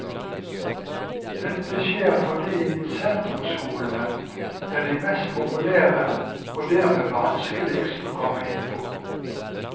Dette skjer fordi sentrumsskolene er de mest populære og dermed vanskeligst å komme inn på.